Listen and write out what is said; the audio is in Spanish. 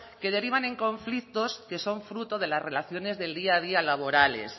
que derivan en conflictos que son fruto de las relaciones del día a día laborales